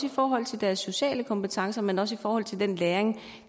i forhold til deres sociale kompetencer men også i forhold til den læring